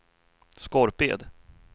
Skorped